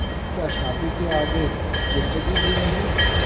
क्या शादी के आगे ज़िन्दगी ही नहीं